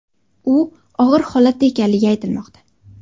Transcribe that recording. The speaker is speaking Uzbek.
U og‘ir holatda ekanligi aytilmoqda.